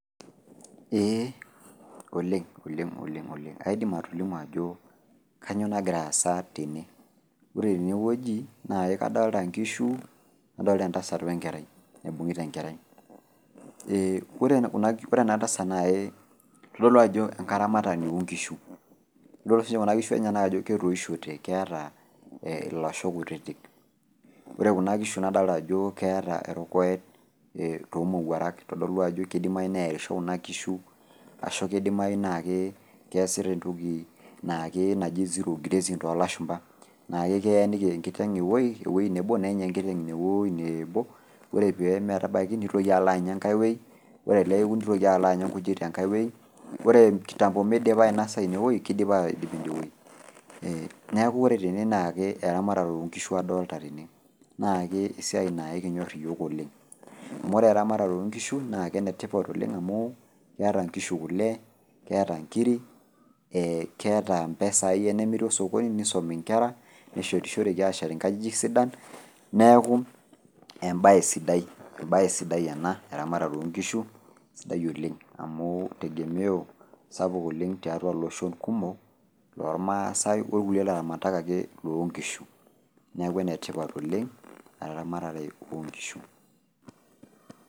Eeh oleng' oleng' oleng' oleng' aidim atolimu ajo kanyoo nagiraasa tene. Ore tenewueji naake adolita nkishu, nadolita entasat oenkerai, naibung'ita enkerai. Ee ore ena tasat nai idol duo ajo enkaramatani oonkishu. Idol siinche kuna kishu enyenak ajo ketoishote ketaa ee ilasho kutitik. Ore kuna kishu nadolta ajoo keeta erokoet toomowuarak eitodolu ajo keidimayu nearisho kuna kishu ashu keidimayu naakee keasita entoki naake eji zero grazing toolashumba naake keenikini enkiteng' ewuei nebo nenya enkiteng' inewuei neebo ore pee metabaiki neitoki aloanya engaiwuei, ore peaku neitoki aloanya nkujit tenkaiwuei ore kitambo meidipa ainosa inewuei kaidipa aidip inewue ee neaku ore tene naakee eramatare oonkishu adolta tene naake esiai naaikinyorr iyiook oleng'. Amu ore eramatare oonkishu nake enetipat oleng' amu keata nkishu kole, keata nkiri ee keata mpesai enemiri osokoni neisomi nkera, neshorishoreki aashet inkajijik sidan neaku embaye, embaye sidai ena eramatare oonkishu sidai oleng amuu tegemeo sapuk oleng' tiatua loshon kumok lolmaasai okulie laramatak akee loonkishu neaku enetipat oleng' eramatare oonkishu.